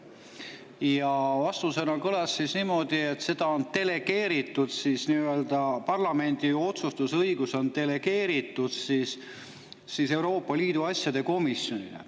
Ja vastus kõlas niimoodi: osa parlamendi otsustusõigust on delegeeritud Euroopa Liidu asjade komisjonile.